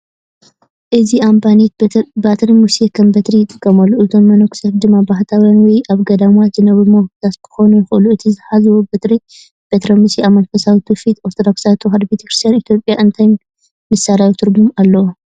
እዚ ኣበምኔት በትሪ ሙሴ ከም በትሪ ይጥቀመሉ፣ እቶም መነኮሳት ድማ ባሕታውያን ወይ ኣብ ገዳማት ዝነብሩ መነኮሳት ክኾኑ ይኽእሉ። እቲ ዝሓዝዎ በትሪ (በትሪ ሙሴ) ኣብ መንፈሳዊ ትውፊት ኦርቶዶክሳዊት ተዋህዶ ቤተ ክርስቲያን ኢትዮጵያ እንታይ ምሳሌያዊ ትርጉም ኣለዎ?